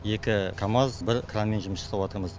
екі камаз бір кранмен жұмыс жасаватырмыз